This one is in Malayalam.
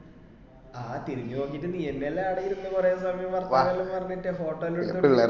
ആ തിരിഞ് നോക്കീട് നീ എന്നെ അല്ലെ ആട ഇരുന്നു കൊറേ സമയം വർത്തനല്ലോ പറഞ്ഞിട്ട് photo എല്ലൊം എടുത്ത് കൊടുത്